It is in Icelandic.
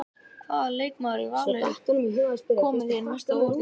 Hvaða leikmaður í Val hefur komið þér mest á óvart í sumar?